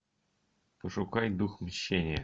пошукай дух мщения